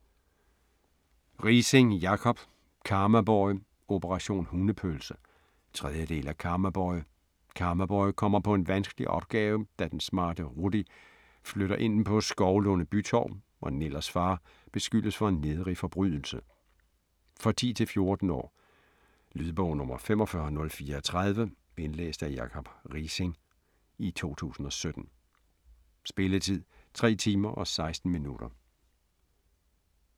Riising, Jacob: Karmaboy - operation hundepølse 3. del af Karmaboy. Karmaboy kommer på en vanskelig opgave, da den smarte Ruddy flytter ind på Skovlunde Bytorv og Nillers far beskyldes for en nedrig forbrydelse. For 10-14 år. Lydbog 45034 Indlæst af Jacob Riising, 2017. Spilletid: 3 timer, 16 minutter.